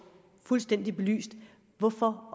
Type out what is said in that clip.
fuldstændig belyst hvorfor